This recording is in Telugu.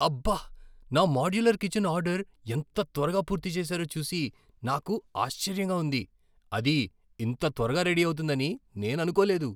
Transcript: అబ్బ! నా మోడ్యులర్ కిచన్ ఆర్డర్ ఎంత త్వరగా పూర్తి చేసారో చూసి నాకు ఆశ్చర్యంగా ఉంది. అది ఇంత త్వరగా రెడీ అవుతుందని నేను అనుకోలేదు.